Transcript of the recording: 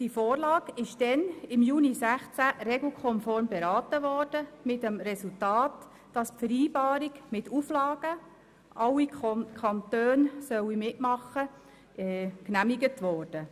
Die Vorlage wurde im Juni 2016 regelkonform beraten, mit dem Resultat, dass die Vereinbarung mit der Auflage, alle Kantone sollten sich beteiligen, genehmigt wurde.